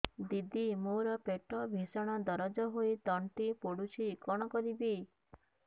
ଦିଦି ମୋର ପେଟ ଭୀଷଣ ଦରଜ ହୋଇ ତଣ୍ଟି ପୋଡୁଛି କଣ କରିବି